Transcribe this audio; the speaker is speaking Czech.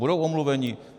Budou omluveni?